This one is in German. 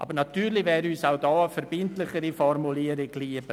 Aber natürlich wäre uns auch hier eine verbindlichere Formulierung lieber.